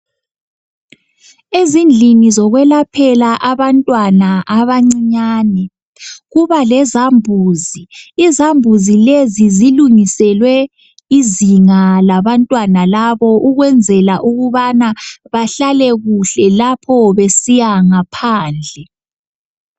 Ezindlini zokwelaphela abantwana abancinyane kuba lezambuzi , izambuzi lezi zilungiselwe izinga labantwana labo ukwenzela ukubana bahlale kuhle lapho besiya ngaphandle.